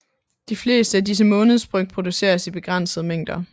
De fleste af disse månedsbryg produceres i begrænsede mængder